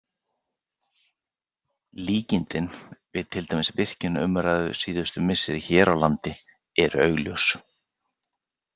Líkindin við til dæmis virkjanaumræðu síðustu missera hér á landi eru augljós.